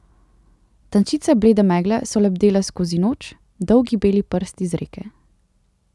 Tančice blede megle so lebdele skozi noč, dolgi beli prsti z reke.